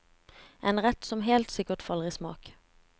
En rett som helt sikkert faller i smak.